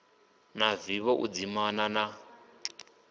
na vivho u dzimana na